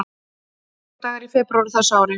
Hvað eru margir dagar í febrúar á þessu ári?